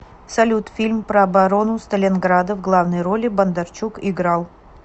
салют фильм про оборону сталинграда в главной роли бондарчук играл